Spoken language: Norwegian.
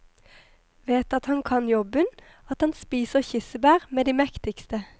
Vet at han kan jobben, at han spiser kirsebær med de mektigste.